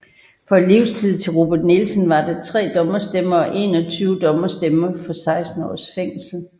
For livstid til Robin Nielsen var der tre dommerstemmer og 21 dommerstemmer for 16 års fængsel